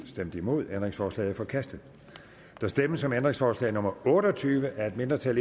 stemte nul ændringsforslaget er forkastet der stemmes om ændringsforslag nummer otte og tyve af et mindretal